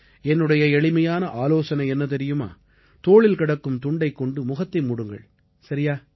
என்னுடைய எளிமையான ஆலோசனை என்ன தெரியுமா தோளில் கிடக்கும் துண்டைக் கொண்டு முகத்தை மூடுங்கள் சரியா